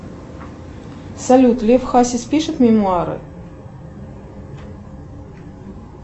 салют лев хасис пишет мемуары